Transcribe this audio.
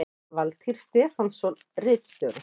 Valtýr Stefánsson ritstjóri